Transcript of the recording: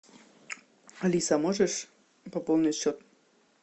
алиса можешь пополнить счет